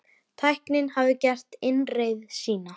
Tæknin hafði gert innreið sína.